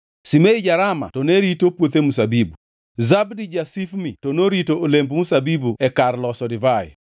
Shimei ja-Rama to ne orito puothe mzabibu. Zabdi ja-Shifmi to norito olemb mzabibu e kar loso divai.